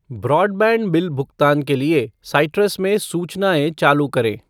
Broadband bill भुगतान के लिए साइट्रस में सूचनाएँ चालू करें ।